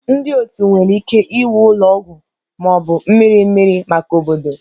Ndị otu nwere ike iwu ụlọ ọgwụ ma ọ bụ mmiri mmiri maka obodo